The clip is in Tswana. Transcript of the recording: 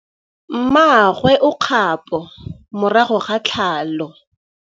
Mmagwe o kgapô morago ga tlhalô.